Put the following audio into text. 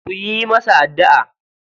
Ku yi masa addu'a.